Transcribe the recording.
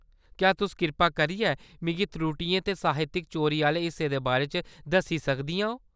क्या तुस कृपा करियै मिगी त्रुटियें ते साहित्यक चोरी आह्‌‌‌ले हिस्सें दे बारे च दस्सी सकदियां ओ ?